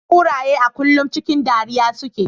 Kuraye a kullum cikin dariya suke.